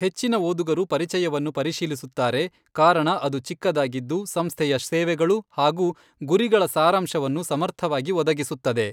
ಹೆಚ್ಚಿನ ಓದುಗರು ಪರಿಚಯವನ್ನು ಪರಿಶೀಲಿಸುತ್ತಾರೆ ಕಾರಣ ಅದು ಚಿಕ್ಕದಾಗಿದ್ದು ಸಂಸ್ಥೆಯ ಸೇವೆಗಳು ಹಾಗೂ ಗುರಿಗಳ ಸಾರಾಂಶವನ್ನು ಸಮರ್ಥವಾಗಿ ಒದಗಿಸುತ್ತದೆ.